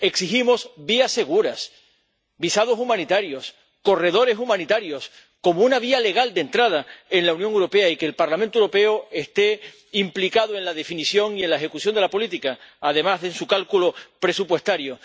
Exigimos vías seguras, visados humanitarios, corredores humanitarios como una vía legal de entrada en la Unión Europea, y que el Parlamento Europeo esté implicado en la definición y en la ejecución de la política, además de en su cálculo presupuestario.